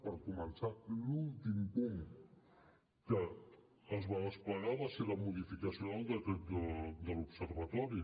per començar l’últim punt que es va desplegar va ser la modificació del decret de l’observatori